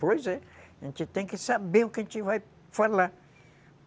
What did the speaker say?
Pois é. A gente tem que saber o que a gente vai falar.